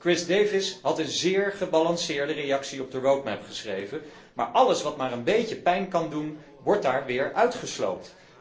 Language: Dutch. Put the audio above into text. Chris Davies had een zeer gebalanceerde reactie op de road map geschreven, maar alles wat maar een beetje pijn kan doen wordt daar weer uitgesloopt.